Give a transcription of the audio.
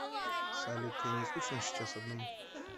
салют тебе не скучно сейчас одному